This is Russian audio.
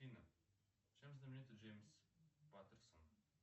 афина чем знаменит джеймс паттерсон